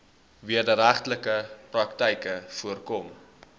wederregtelike praktyke voorkom